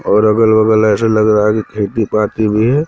और अगल बगल ऐसे लग रहा है की खेती पाकी भी--